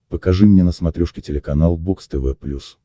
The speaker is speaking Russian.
покажи мне на смотрешке телеканал бокс тв плюс